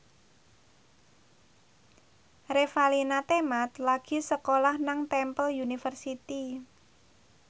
Revalina Temat lagi sekolah nang Temple University